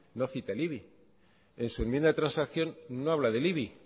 no cita el ibi en su enmienda de transacción no habla del ibi